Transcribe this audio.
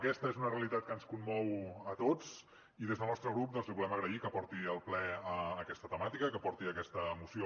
aquesta és una realitat que ens commou a tots i des del nostre grup doncs li volem agrair que porti al ple aquesta temàtica i que porti aquesta moció